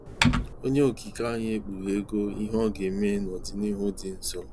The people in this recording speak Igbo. Onye Okike anyị ekpughego ihe ọ ga-eme nọdịnihu dị nso.